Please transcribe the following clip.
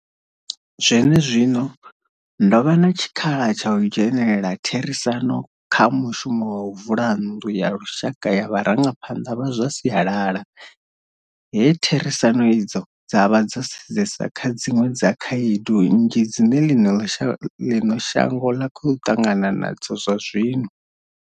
Zwenezwino, ndo vha na tshikhala tsha u dzhenela therisano kha mushumo wa u vula nnḓu ya lushaka ya vharangaphanḓa vha zwa sialala, he therisano idzo dza vha dzo sedzesa kha dziṅwe dza khaedu nnzhi dzine ḽino shango ḽa khou ṱangana na dzo zwazwino.